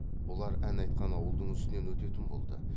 бұлар ән айтқан ауылдың үстінен өтетін болды